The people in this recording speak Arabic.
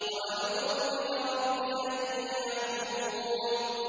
وَأَعُوذُ بِكَ رَبِّ أَن يَحْضُرُونِ